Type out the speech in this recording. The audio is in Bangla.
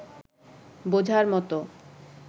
বোঝার মতো